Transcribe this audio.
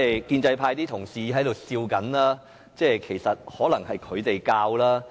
建制派同事在笑，可能是他們教的。